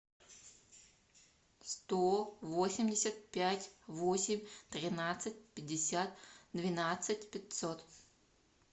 сто восемьдесят пять восемь тринадцать пятьдесят двенадцать пятьсот